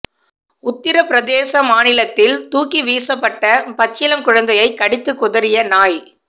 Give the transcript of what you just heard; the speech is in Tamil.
உத்தர பிரதேச மாநிலத்தில் தூக்கி வீசப்பட்ட பச்சிளம் குழந்தையை கடித்து குதறிய நாய்